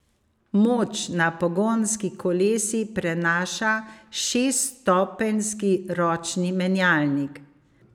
Moč na pogonski kolesi prenaša šeststopenjski ročni menjalnik.